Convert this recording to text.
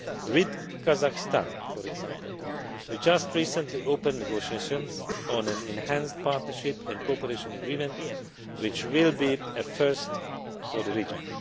With Kazakhstan for example, we just recently opened negotiations on an enhanced Partnership and Cooperation Agreement, which will be a first for the region.